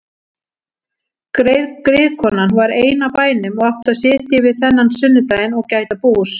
Griðkonan var ein á bænum og átti að sitja yfir þennan sunnudaginn og gæta bús.